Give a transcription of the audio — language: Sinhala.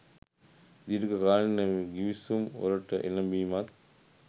දීර්ඝ කාලින ගිවිසුම් වලට එළඹීමත්